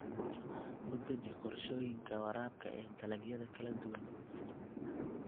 U deji qorshooyinka waraabka ee dalagyada kala duwan.